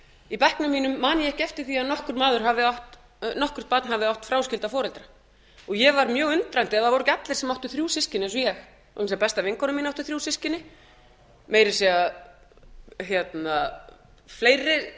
í bekknum mínum man ég ekki eftir því að nokkurt barn hafi átt fráskilda foreldra og ég var mjög undrandi það voru ekki allir sem áttu þrjú systkini eins og ég besta vinkona mín átti þrjú systkini meira að segja fleiri